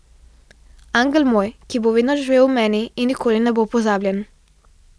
Angel moj, ki bo vedno živel v meni in nikoli ne bo pozabljen.